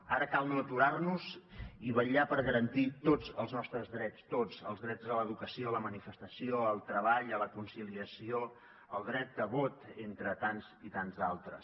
ara cal no aturar nos i vetllar per garantir tots els nostres drets tots els drets a l’educació a la manifestació al treball a la conciliació el dret de vot entre tants i tants d’altres